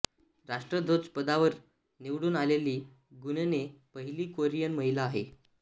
राष्ट्राध्यपदावर निवडून आलेली ग्युनहे पहिली कोरियन महिला आहे